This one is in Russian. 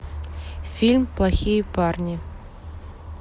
фильм плохие парни